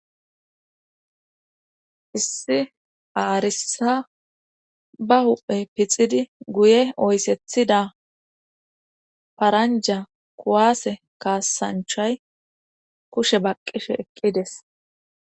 Issi aarissa ba huphe pixidi guye oyssethida paranja kuwaase kaasanchay kushe baqqishe eqqides.